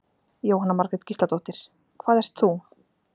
Jóhanna Margrét Gísladóttir: Hvað ert þú?